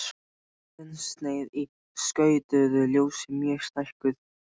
Þunnsneið í skautuðu ljósi mjög stækkuð.